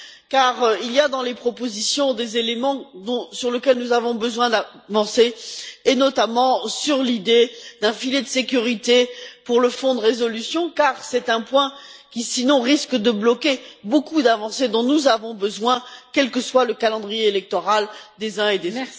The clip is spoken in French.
En effet, il y a dans les propositions des éléments sur lesquels nous avons besoin d'avancer, et notamment l'idée d'un filet de sécurité pour le fonds de résolution, car c'est un point qui sinon risque de bloquer beaucoup d'avancées dont nous avons besoin, quel que soit le calendrier électoral des uns et des